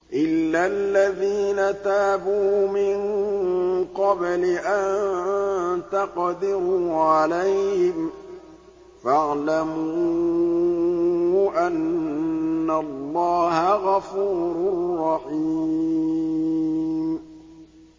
إِلَّا الَّذِينَ تَابُوا مِن قَبْلِ أَن تَقْدِرُوا عَلَيْهِمْ ۖ فَاعْلَمُوا أَنَّ اللَّهَ غَفُورٌ رَّحِيمٌ